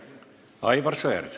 Aivar Sõerd.